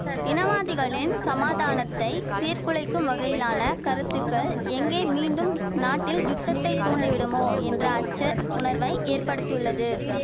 இனவாதிகளின் சமாதானத்தை சீர் குலைக்கும் வகையிலான கருத்துக்கள் எங்கே மீண்டும் நாட்டில் யுத்தத்தை தூண்டிவிடுமோ என்ற அச்ச உணர்வை ஏற்படுத்தியுள்ளது